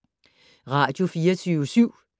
Radio24syv